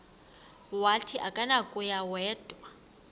wathi akunakuya wedw